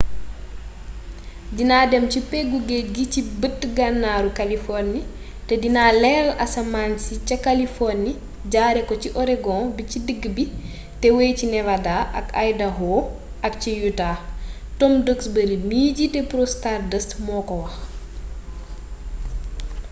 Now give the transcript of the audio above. dina dem ci peggu géej gi ci bët gannaaru kaliforni te dina leeral asamaan ci ca kaliforni jaare ko ci oregon bi ci digg bi te wey ci nevada ak idaaho ak ciutah tom duxbury mi jiite prose stardust moo ko wax